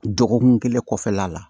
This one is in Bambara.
Dɔgɔkun kelen kɔfɛla la